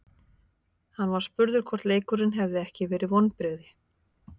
Hann var spurður hvort leikurinn hefði ekki verið vonbrigði.